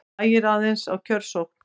Hægir aðeins á kjörsókn